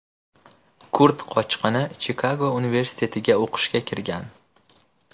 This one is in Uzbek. Kurd qochqini Chikago universitetiga o‘qishga kirgan.